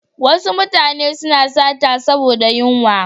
Wasu mutane suna sata saboda yunwa.